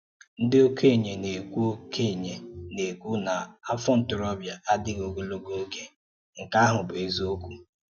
Ndị̀ okenye na-ēkwú okenye na-ēkwú na afọ̀ ntoróbịa adịghị̀ ogologo oge, nke ahụ̀ bụ́ ézìokwu.